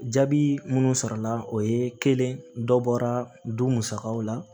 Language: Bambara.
Jaabi minnu sɔrɔla o ye kelen dɔ bɔra du musakaw la